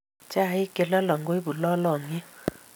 Chaik che lolong koipu lolongiet